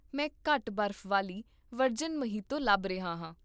ਮੈਂ ਘੱਟ ਬਰਫ਼ ਵਾਲੀ ਵਰਜਿਨ ਮੋਹੀਤੋ ਲੱਭ ਰਿਹਾ ਹਾਂ